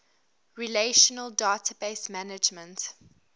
relational database management